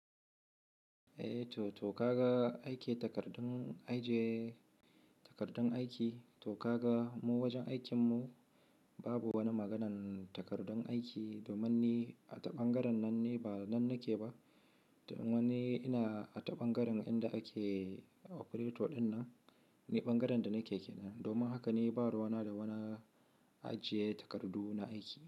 Eh to, to ka ga aiki takardun ajiye takardun aiki, to ka ga mu wajen aikin mu babu wani maganan takardun aiki domin ni a taɓangaren nan ni ba nan nake ba, domin ni ina a taɓangaren inda ake operator dinnan, ne bangaren da nake ke nan. Domin haka ni ba ruwana da wani ajiye takardu na aiki.